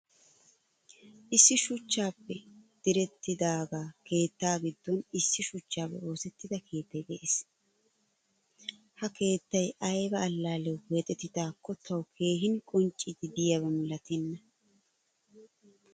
Issi shuchchappe direttidaga keetta giddon issi shuchchappe oosettida keettay de'ees. Ha keettay ayba allaliyawu keexettidako tawu keehin qonccidi deiyaba milatenna.